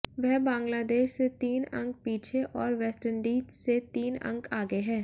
वह बांग्लादेश से तीन अंक पीछे और वेस्टइंडीज से तीन अंक आगे है